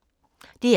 DR K